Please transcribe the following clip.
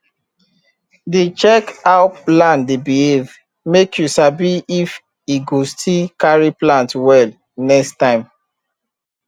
dey check how land dey behave make you sabi if e go still carry plant well next time